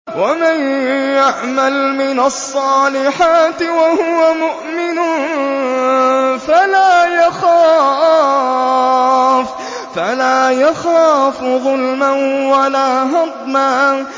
وَمَن يَعْمَلْ مِنَ الصَّالِحَاتِ وَهُوَ مُؤْمِنٌ فَلَا يَخَافُ ظُلْمًا وَلَا هَضْمًا